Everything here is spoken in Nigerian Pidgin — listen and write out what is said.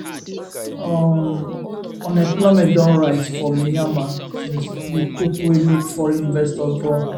um unemployment don rise for myanmar since di coup wey make foreign investors run